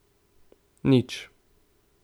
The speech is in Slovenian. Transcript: Nič.